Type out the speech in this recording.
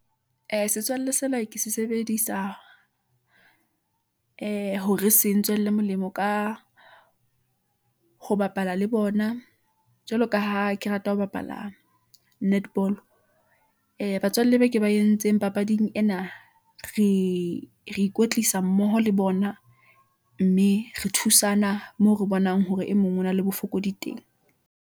Ee, setswalle sena ke se sebedisa ee hore se ntswela molemo ka ho bapala le bona , jwalo ka ha ke rata ho bapala netball ee, batswalle ba ke ba entseng papading ena . re ikwetlisa mmoho le bona , mme re thusana moo re bonang, hore e mong o na le bofokodi teng.